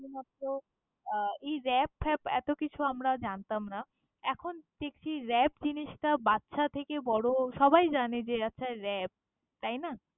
নতুনত্ব আহ এই rap ফ্যাপএতো কিছু আমরা জানতাম না। এখন দেখছি রাপ জিনিসটা বাচ্ছা থেকে বড়ো সবাই জানে যে, আচ্ছা rap ।